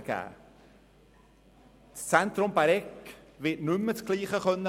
Die Zentrum Bäregg GmbH wird nicht mehr dasselbe leisten können.